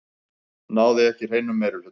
Náði ekki hreinum meirihluta